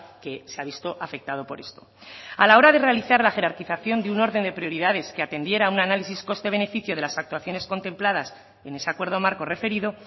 que se ha visto afectado por esto a la hora de realizar la jerarquización de un orden de prioridades que atendiera un análisis coste beneficio de las actuaciones contempladas en ese acuerdo marco referido